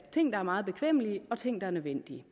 ting der er meget bekvemme og ting der er nødvendige